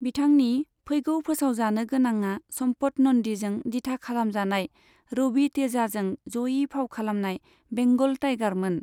बिथांनि फैगौ फोसावजानो गोनाङा सम्पत नन्दिजों दिथा खालामजानाय रबि तेजाजों जयै फाव खालामनाय बेंगल टाइगारमोन।